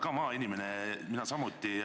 Sina oled maainimene, mina samuti.